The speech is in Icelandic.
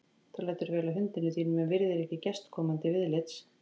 Þú lætur vel að hundinum þínum en virðir ekki gest- komandi viðlits